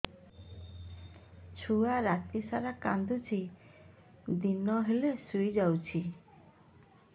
ଛୁଆ ରାତି ସାରା କାନ୍ଦୁଚି ଦିନ ହେଲେ ଶୁଇଯାଉଛି